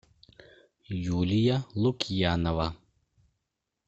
юлия лукьянова